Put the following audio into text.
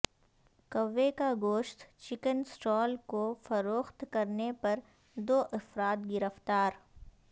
کوے کا گوشت چکن اسٹال کو فروخت کرنے پر دو افراد گرفتار